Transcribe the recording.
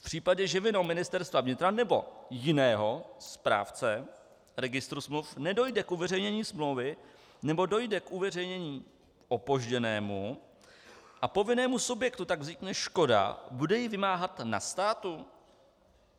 V případě, že vinou Ministerstva vnitra nebo jiného správce registru smluv nedojde k uveřejnění smlouvy nebo dojde k uveřejnění opožděnému, a povinnému subjektu tak vznikne škoda, bude ji vymáhat na státu?